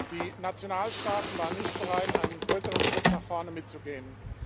Die Nationalstaaten waren nicht bereit, einen größeren Schritt nach vorne mitzugehen.